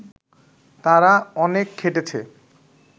তারা অনেক খেটেছে